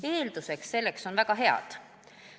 Eeldused selleks on väga head.